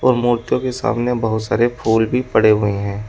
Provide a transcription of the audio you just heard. मूर्तियों के सामने बहुत सारे फूल भी पड़े हुए हैं।